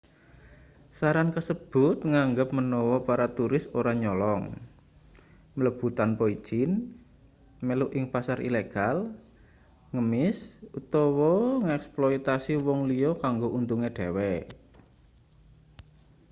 saran kasebut nganggep menawa para turis ora nyolong mlebu tanpa ijin melu ing pasar ilegal ngemis utawa ngeksploitasi wong liya kanggo untunge dhewe